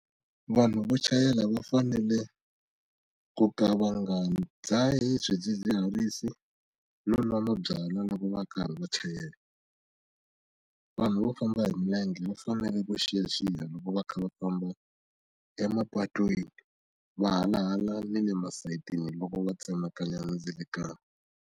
Vanhu vo chayela va fanele ku ka va nga dzahi swidzidziharisi no nwa mabyalwa loko va karhi va chayela vanhu vo famba hi milenge va fanele ku xiyaxiya loko va kha va famba emapatwini va hala hala ni le masayitini loko va tsemakanya mindzilekano.